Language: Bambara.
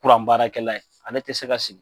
Kuran baarakɛla ye, ale tɛ se ka sigi.